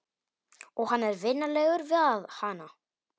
Og hann er vinalegur við hana.